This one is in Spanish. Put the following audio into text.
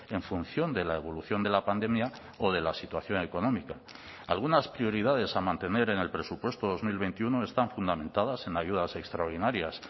en función de la evolución de la pandemia o de la situación económica algunas prioridades a mantener en el presupuesto dos mil veintiuno están fundamentadas en ayudas extraordinarias